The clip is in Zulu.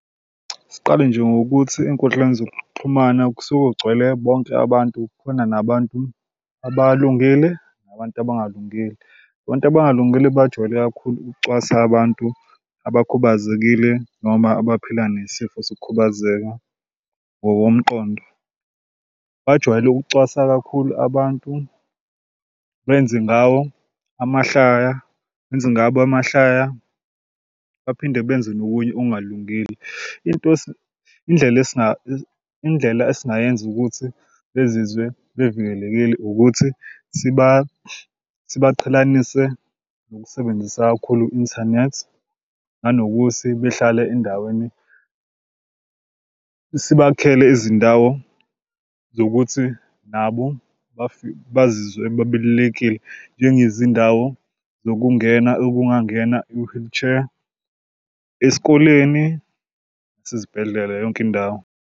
Siqale nje ngokuthi ey'nkundleni zokuxhumana kusuke kugcwele bonke abantu khona nabantu abalungile nabantu abalungile. Abantu abangalungile bajwayele kakhulu ukucwasa abantu abakhubazekile noma abaphila nesifo sokukhubazeka ngokomqondo. Bajwayele ukucwasa kakhulu abantu benze ngawo amahlaya benze ngabo amahlaya, baphinde benze nokunye okungalungile. Into indlela indlela esingayenza ukuthi bezizwe bevikelekile ukuthi sibaqhelanise nokusebenzisa kakhulu inthanethi, nanokuthi behlale endaweni sibakhele izindawo zokuthi nabo bazizwe bebalulekile, njengezindawo zokungena okungangena i-wheelchair esikoleni sezibhedlela yonke indawo.